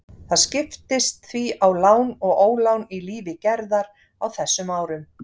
Það skiptist því á lán og ólán í lífi Gerðar á þessum árum.